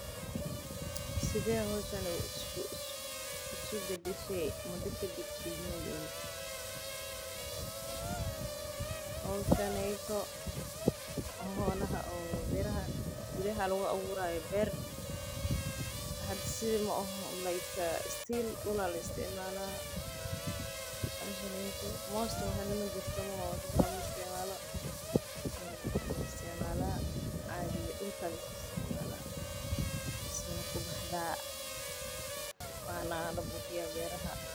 Sidee howshan isku badashe muda kadib dwgmadiina howshan holaha bira lagu abuurayo beer bahashan mala isticmaalo.